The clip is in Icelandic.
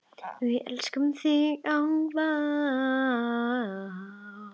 Við elskum þig ávallt.